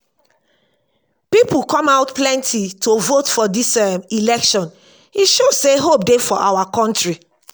people come out plenty to vote for dis um election e show say hope dey for our country